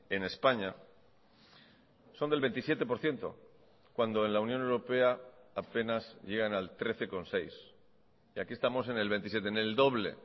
en españa son del veintisiete por ciento cuando en la unión europea apenas llegan al trece coma seis y aquí estamos en el veintisiete en el doble